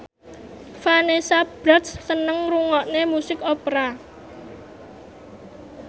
Vanessa Branch seneng ngrungokne musik opera